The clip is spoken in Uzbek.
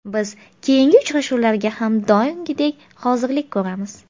Biz keyingi uchrashuvlarga ham doimgidek hozirlik ko‘ramiz.